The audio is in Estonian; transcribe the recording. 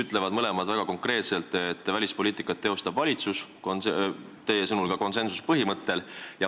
Mõlemad ütlevad väga konkreetselt, et välispoliitikat teostab valitsus, teie sõnul ka konsensuspõhimõttel.